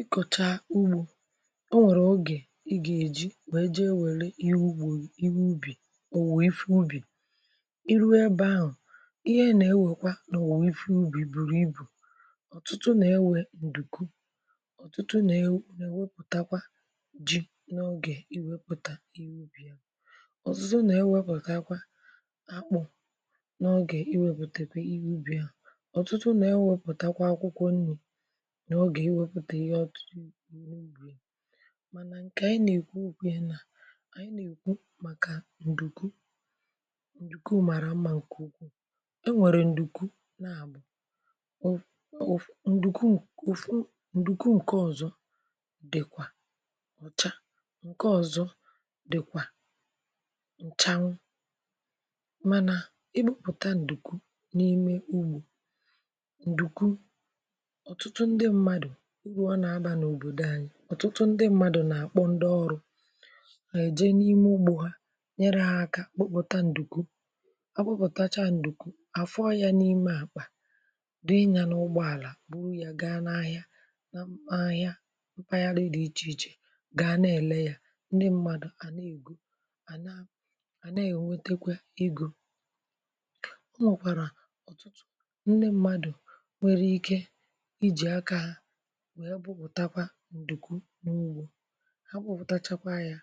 Ị kọ̀chà ugbò, um, o nwèrè ogè ị gà-èji… mà e ji ewèle ihe ugbò. Ihe ubì o nwè, ịfụ̇ ubì ị ruo ebe ahụ̀, ihe nà-ewèkwa, um. Nà o nwè ịfụ̇ ubì bùrù ibù ọ̀tụtụ um ọ̀tụtụ, nà-ewè m̀dùkwu ọ̀tụtụ, nà-ewepụtakwa ji n’ogè iwepụ̀tà. Ị wupù ya ọ̀tụtụ? Ee, nà-ewepụtakwa akpụ̇ n’ogè iwepùtà. Ị wupù ya ọ̀tụtụ, nà-ewepụtakwa akwụkwọ nri n’ogè iwepụtà. Ihe ọtụtụ ùle ubì… mànà ǹkè ànyị nà-èkwu okwu ya, um, bụ̀ ǹdùkwu.... Ǹdùkwu màrà mmȧ, ǹkè ukwuù. um E nwèrè ǹdùkwu nà-àbọ̀ ụ̀fụ̇, ǹdùkwu ụ̀fụ̇… ǹke ọ̀zọ dị̀kwà ọ̀cha, ǹke ọ̀zọ dị̀kwà ǹchanwụ̇. Mànà ị hụ̇, e bụ̇pụ̀tà ǹdùkwu n’ime ugbò…urù ọ nà-abȧ n’òbòdò anyị dị̀ ukwuu, ee. Ọ̀tụtụ ndị mmadù nà-àkpọ ndị ọrụ̇, ha je n’ime ugbò, ha nyere ha aka um kpụkpọtà ǹdùkwu. Akpụpụ̀tacha ǹdùkwu afọọ yà, n’ime àkpà dị iche, yà n’ụgbọ àlà… bụrụ ya gaa n’ahịa. Ị hụ̀? Ahịa mpanye dị iche iche gàa na-èlè yà. Ndị mmadù à na-ègwu, à na-ègwutekwa egò, um. Ọ nwèkwàrà ndị mmadù nwèrè ike ǹdùkwu n’ugbò ha bụpụtachakwa ya,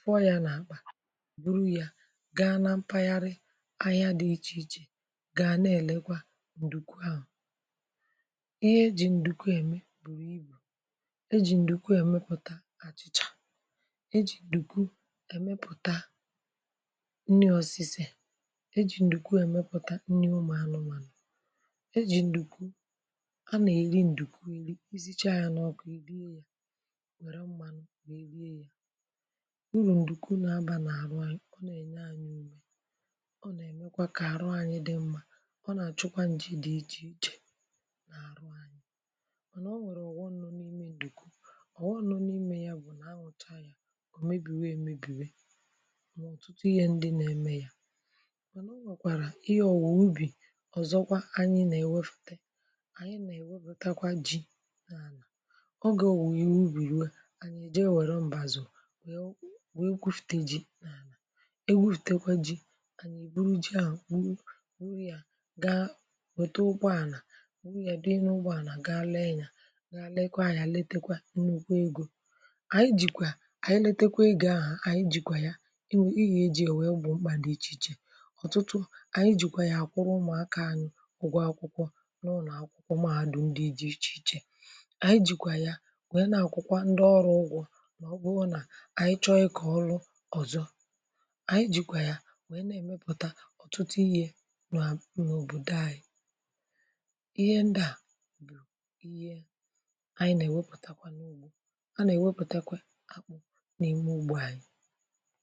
fụọ ya, nà bụrụ ya gaa na mpaghara ahịa dị iche iche. Gà nà èlekwa ǹdùkwu ahụ̀, ee. Ihe ejì ǹdùkwu ème bụ̀, um: ibù ejì ǹdùkwu èmepụ̀tà àchịchà, ejì ǹdùkwu èmepụ̀tà nni osise, ejì ǹdùkwu èmepụ̀tà nni ụmụ̀anụmànụ̀, ejì ǹdùkwu iziche ànyà, ọ bụ̀ iri, ye nwe mmànụ̀ nwèdo ya... Urù ǹdùkwu nà abà n’àrụ̀ ànyà… ọ nà-ènye ànyị ùmè, ọ nà-èmekwa kà arụ anyị dị mmȧ. Ọ nà-àchụkwa ǹjì dị iche iche nà àrụ̀ ànyị. Mànà, um, o nwèrè ụ̀gwọ nọ̀ n’ime ǹdùkwu. Ụ̀gwọ ahụ̀. Ọ bụ̀ nà anwụcha ya, ọ̀ mebìwe emebìwe ọ̀ tụtụ ihe ndị nà-ème ya. Mànà o nwèkwàrà ihe ọ̀wà ùbì. Ọ̀zọkwa, anyị nà-èwefute ọ. Ò wù yì ubìrùė. Ànyị je èwère mbàzò wèe kwufùtè ji, e kwufùtèkwa ji… ànyị buru ji, à gwuru yà, gaa wète ụkwụ à nà gwuru yà. Dị ị n’ụgwọ, à nà ga leekwaa yà. Leekwa nnukwu egò, ànyị jìkwà, um Ànyị letekwa ị gị̇ ahụ̀, ànyị jìkwà ya. Ị wụ̇ ị yà… eji è wèe gbọ̀ mkpà dị̀ iche iche. Ọ̀tụtụ ànyị jìkwà ya, àkwụrụ ụmụ̀aka anyị ụgwọ akwụkwọ n’ụnọ̀ akwụkwọ. Màádụ̀ ndị nwè, na-akwụkwọ ndị ọrụ, ụgwọ̀. Ma ọ bụhụ, ị hụ̇ Ọ bụrụ na anyị chọọ ịkọ̀ ọlụ ọzọ̀, anyị jikwà ya wee na-emepụtà ọtụtụ ihe n’òbòdò anyị... Ihe ndị à bụ̀ ihe, anyị na-ewepụtakwà n’ugbò, a na-ewepụtakwà akpụ̀ n’ime ugbò anyị.